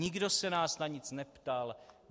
Nikdo se nás na nic neptal.